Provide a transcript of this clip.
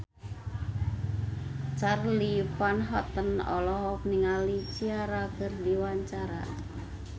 Charly Van Houten olohok ningali Ciara keur diwawancara